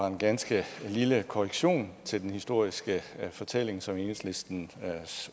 en ganske lille korrektion til den historiske fortælling som enhedslistens